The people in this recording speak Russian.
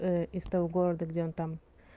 из того города где он там